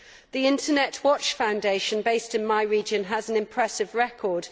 The Internet Watch Foundation, based in my region, has an impressive record.